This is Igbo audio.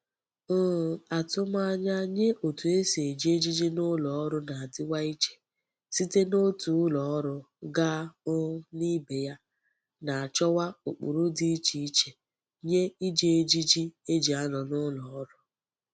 um Atumanya nye otu e si eji ejiji n'uloru na-adiwa iche site n'otu uloru gaa um nibe ya, na-achowa ukpuru di iche iche nye Iji ejiji eji ano n'uloru.